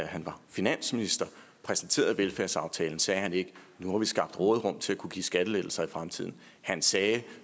han var finansminister præsenterede velfærdsaftalen sagde han ikke nu har vi skabt et råderum til at kunne give skattelettelser i fremtiden han sagde